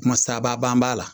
Kumasaba b'a la